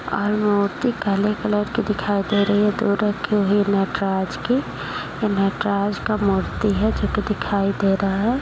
और मूर्ति काले कलर की दिखाई दे रही है दूर रखी हुई नटराज की। ये नटराज का मूर्ति है जोकि दिखाई दे रहा है।